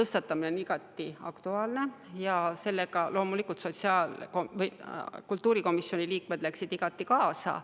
Teema on igati aktuaalne ja selle tõstatamisega läksid kultuurikomisjoni liikmed loomulikult igati kaasa.